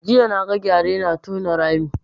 Jiya na ga gyare na tona rami